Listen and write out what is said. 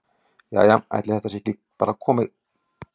Jæja ætli þetta sé þá ekki bara komið.